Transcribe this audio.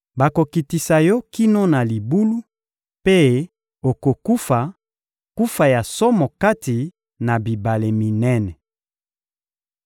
Bakokitisa yo kino na libulu, mpe okokufa kufa ya somo kati na bibale minene.